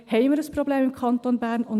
Haben wir im Kanton Bern ein Problem?